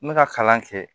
N bɛ ka kalan kɛ